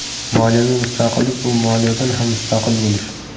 Moliyaviy mustaqillik bu moliyadan ham mustaqil bo‘lish.